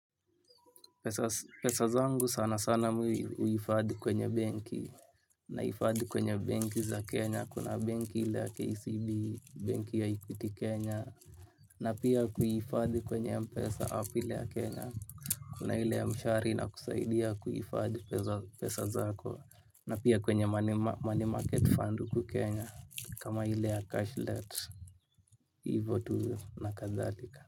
Pesa zangu sana sana huhifadhi kwenye banki. Nahifadhi kwenye banki za Kenya kuna banki ile ya KCB, banki ya equity Kenya Na pia kuhifadhi kwenye mpesa app ile ya Kenya. Kuna ile mshwari ina kusaidia kuhifadhi pesa zako. Na pia kwenye money market fund hukukenya kama ile ya cashlet. Ivo tu na kadhalika.